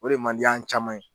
O de man di an caman ye.